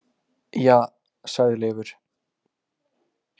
Ja, sagði Leifur.